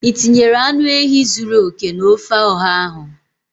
Ị tinyere anụ ehi zuru oke na ofe oha ahụ?